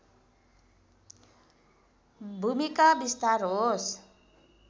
भूमिका विस्तार होस्